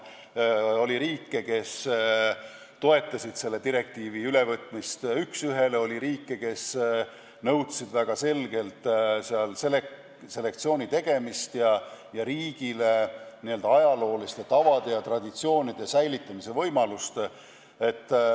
Oli riike, kes toetasid selle direktiivi ülevõtmist üks ühele, ning oli riike, kes nõudsid väga selgelt selektsiooni tegemist ja riigile ajalooliste tavade ja traditsioonide säilitamise võimalust.